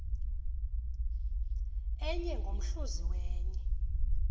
enye ngomhluzi wenye